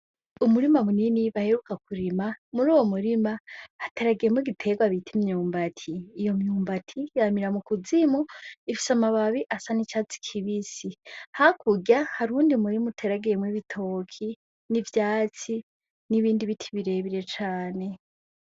Umurima munini baheruka kurima. Muruwo murima hateragiyemwo igiterwa bita imyumbati. Iyo myumbati yamira mu kuzimu. Ifise amababi asa c'icatsi kibisi. Hakurya hari uwundi murima uteragiyemwo ibitoke, n'ivyatsi, nibindi biti birebire cane.